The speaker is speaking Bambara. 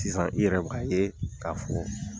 Sisan i yɛrɛ bɛ ka ye k'a fɔ